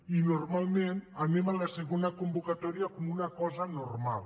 i normalment anem a la segona convocatòria com una cosa normal